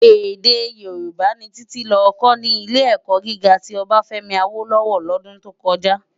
Èdè Yorùbá ni Titi lò kò ni Ilé-èkò gigá ti Obafemi Awolowo lòdún tó kòjá